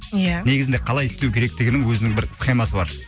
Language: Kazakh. ия негізінде қалай істеу керектігінің өзінің бір схемасы бар